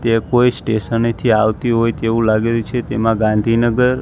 તે કોઈ સ્ટેશને થી આવતી હોય તેવુ લાગે છે તેમા ગાંધીનગર--